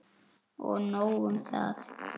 Og nóg um það.